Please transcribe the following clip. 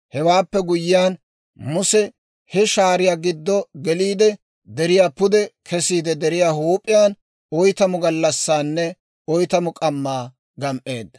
Hewaappe guyyiyaan Muse he shaariyaa giddo geliide, deriyaa pude kesiide deriyaa huup'iyaan oytamu gallassaanne oytamu k'ammaa gam"eedda.